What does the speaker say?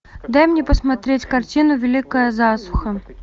дай мне посмотреть картину великая засуха